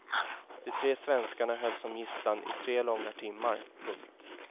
De tre svenskarna hölls som gisslan i tre långa timmar. punkt